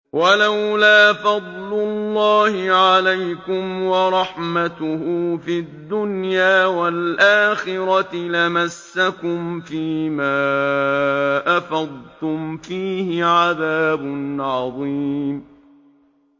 وَلَوْلَا فَضْلُ اللَّهِ عَلَيْكُمْ وَرَحْمَتُهُ فِي الدُّنْيَا وَالْآخِرَةِ لَمَسَّكُمْ فِي مَا أَفَضْتُمْ فِيهِ عَذَابٌ عَظِيمٌ